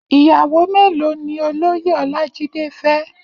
Iyàwó méló ni ólóyé Olajide fè?